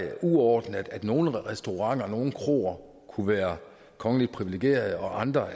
er uordentligt at nogle restauranter nogle kroer kunne være kongeligt priviligerede og andre